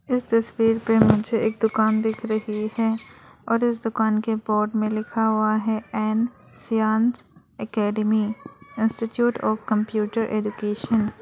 इस तस्वीर पे मुझे एक दुकान दिख रही है और इस दुकान के बोर्ड में लिखा हुआ है ऐन श्यान academy institute of computer education --